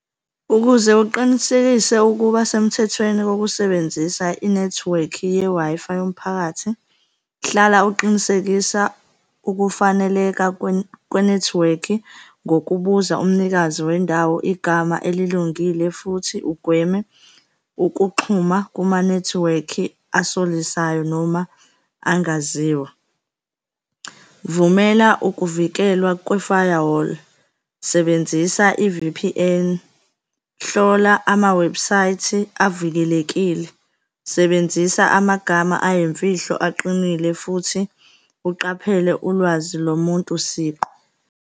Ukuze uqinisekise ukuba semthethweni wokusebenzisa inethiwekhi ye-Wi-Fi yomphakathi, hlala uqinisekisa ukufaneleka kwenethiwekhi ngokubuza umnikazi wendawo igama elilungile futhi ugweme ukuxhuma kumanethiwekhi asolisayo noma angaziwa. Vumela ukuvikelwa kwe-firewall, sebenzisa i-V_P_N, hlola amawebhusayithi avikelekile, sebenzisa amagama ayimfihlo aqinile futhi uqaphele ulwazi lomuntu siqu.